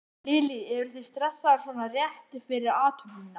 Lillý: Eruð þið stressaðar svona rétt fyrir athöfnina?